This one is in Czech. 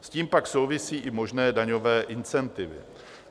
S tím pak souvisí i možné daňové incentivy.